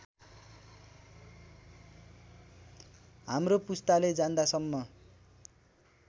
हाम्रो पुस्ताले जान्दासम्म